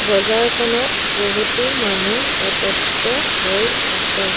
বজাৰখনত বহুতো মানুহ একত্ৰিত হৈ আছে।